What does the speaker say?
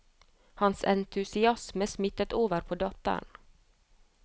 Hans entusiasme smittet over på datteren.